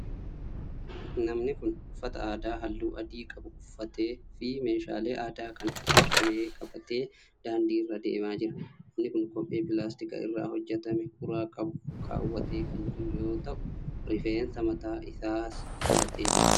Namni kun ,uffata aadaa haalluu adii qabu uffatee fi meeshaalee aadaa kan akka qabee qabatee daandii irra adeemaa jira. Namni kun kophee pilaastika irraa hojjatame uraa qabu kaawwatee kan jiru yoo ta'u, rifeensa mataa isaas filatee jira.